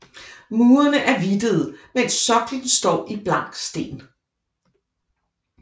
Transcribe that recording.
Murerne er hvidtede mens soklen står i blank sten